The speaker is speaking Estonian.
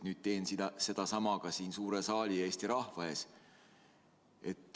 Nüüd teen sedasama ka siin suure saali ja Eesti rahva ees.